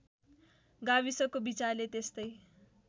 गाविसको विचारले त्यस्तै